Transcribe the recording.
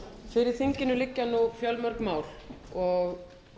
fyrir þinginu liggja því fjölmörg mál og